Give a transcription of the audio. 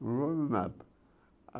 Voa do nada.